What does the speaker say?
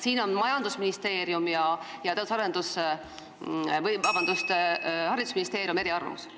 Siin on majandusministeerium ja haridusministeerium eri arvamustel.